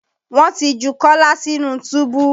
Wọ́n ti ju Kọ́lá sínú túbú